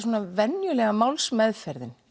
venjulega málsmeðferðin